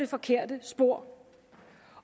forkert spor